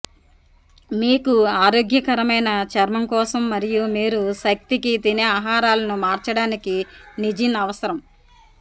మీకు ఆరోగ్యకరమైన చర్మం కోసం మరియు మీరు శక్తికి తినే ఆహారాలను మార్చడానికి నీజిన్ అవసరం